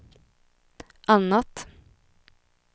annat